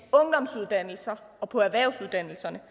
ungdomsuddannelser og på erhvervsuddannelserne